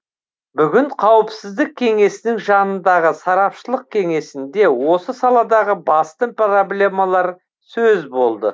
бүгін қауіпсіздік кеңесінің жанындағы сарапшылық кеңесінде осы саладағы басты проблемалар сөз болды